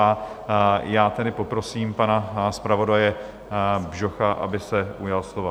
A já tedy poprosím pana zpravodaje Bžocha, aby se ujal slova...